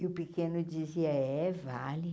E o pequeno dizia, é, vale.